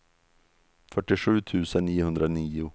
fyrtiosju tusen niohundranio